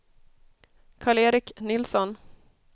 Karl-Erik Nilsson